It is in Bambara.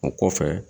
O kɔfɛ